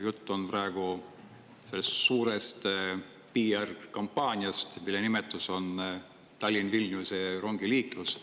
Jutt on praegu suurest PR-kampaaniast, mille nimetus on Tallinna-Vilniuse rongiliiklus.